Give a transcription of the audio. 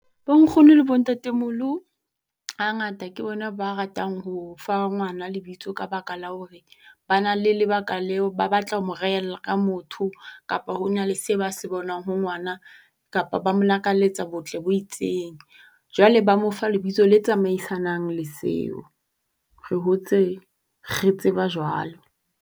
Bo nkgono le bo ntatemoholo, ha ngata ke bona ba ratang ho fa ngwana lebitso ka baka la hore ba na le lebaka leo ba batla ho mo rehella ka motho kapa hona le se ba se bonang ho ngwana kapa ba mo lakaletsa botle bo itseng. Jwale ba mo fa lebitso le tsamaisanang le seo. Re hotse re tseba jwalo.